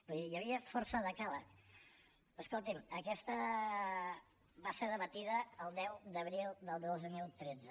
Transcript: vull dir hi havia força decàleg escolti’m aquesta va ser debatuda el deu d’abril del dos mil tretze